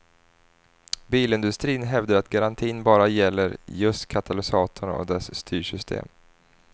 Bilindustrin hävdar att garantin bara gäller just katalysatorn och dess styrsystem.